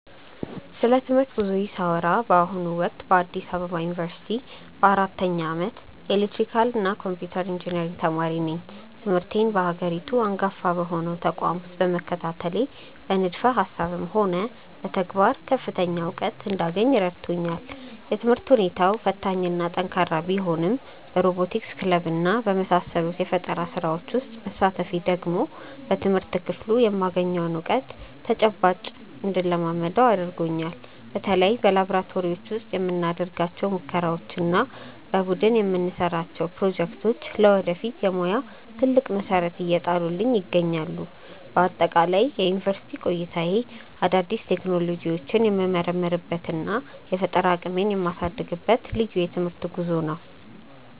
ስለ ትምህርት ጉዞዬ ሳወራ በአሁኑ ወቅት በአዲስ አበባ ዩኒቨርሲቲ በአራተኛ ዓመት የኤሌክትሪካልና ኮምፒውተር ኢንጂነሪንግ ተማሪ ነኝ። ትምህርቴን በሀገሪቱ አንጋፋ በሆነው ተቋም ውስጥ መከታተሌ በንድፈ ሃሳብም ሆነ በተግባር ከፍተኛ እውቀት እንዳገኝ ረድቶኛል። የትምህርት ሁኔታው ፈታኝና ጠንካራ ቢሆንም በሮቦቲክስ ክለብና በመሳሰሉት የፈጠራ ስራዎች ውስጥ መሳተፌ ደግሞ በትምህርት ክፍሉ የማገኘውን እውቀት በተጨባጭ እንድለማመደው አድርጎኛል። በተለይ በላብራቶሪዎች ውስጥ የምናደርጋቸው ሙከራዎችና የቡድን የምንሰራቸው ፕሮጀክቶች ለወደፊት የሙያ ትልቅ መሰረት እየጣሉልኝ ይገኛሉ። በአጠቃላይ የዩኒቨርሲቲ ቆይታዬ አዳዲስ ቴክኖሎጂዎችን የምመረምርበትና የፈጠራ አቅሜን የማሳድግበት ልዩ የትምህርት ጉዞ ነው።